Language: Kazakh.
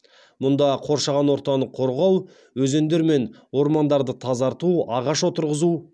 мұнда қоршаған ортаны қорғау өзендер мен ормандарды тазарту ағаш отырғызу